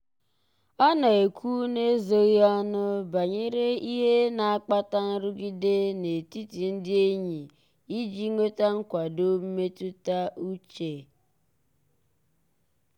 ọ na-ekwu n'ezoghị ọnụ banyere ihe na-akpata nrụgide n'etiti ndị enyi iji nweta nkwado mmetụta uche.